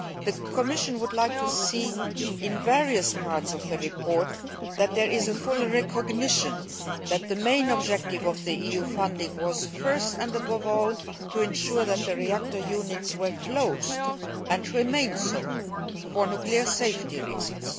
The Commission was glad to see, in various parts of the report, that there is full recognition that the main objective of the EU funding was, first and foremost, to ensure that the reactor units were closed and remained so for nuclear safety reasons.